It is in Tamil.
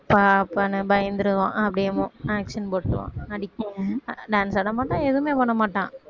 அப்பா அப்பான்னு பயந்துருவான், அப்படியே action போட்டிருவான் dance ஆடமாட்டான், எதுவுமே பண்ணமாட்டான்